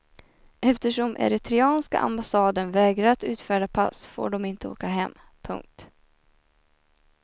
Eftersom eritreanska ambassaden vägrar att utfärda pass får de inte åka hem. punkt